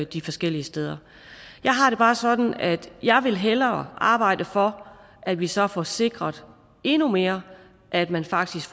de forskellige steder jeg har det bare sådan at jeg hellere arbejde for at vi så får sikret endnu mere at man faktisk